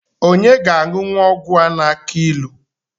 Onye ga-aṅụnwu ọgwụ a na-akụ ilu?